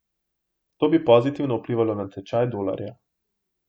To bi pozitivno vplivalo na tečaj dolarja.